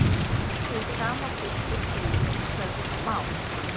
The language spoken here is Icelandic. Hið sama gildir því um íslenskt mál.